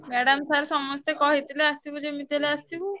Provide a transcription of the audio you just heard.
Madam, sir ସମସ୍ତେ କହିଥିଲେ ଆସିବୁ ଯେମିତି ହେଲେ ଆସିବୁ।